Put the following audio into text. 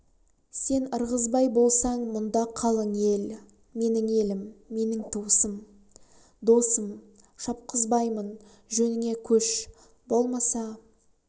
сен ырғызбай болсаң мүнда қалын ел менің елім менің туысым да досым шапқызбаймын жөніңе көш болмаса